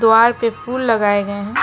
बाहर पे फूल लगाए गए हैं।